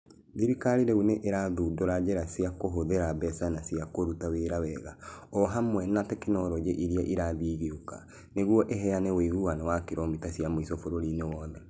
Thirikari rĩu nĩ ĩrathugunda njĩra cia kũhũthĩra mbeca na cia kũruta wĩra wega, o hamwe na tekinolonjĩ iria irathiĩ igĩũka, nĩguo ĩheane ũiguano wa kilomita cia mũico bũrũri-inĩ wothe.